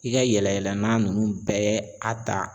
I ka yɛlɛ yɛlɛna nunnu bɛɛ a ta